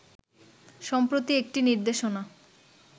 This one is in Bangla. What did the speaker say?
সম্প্রতি একটি নির্দেশনা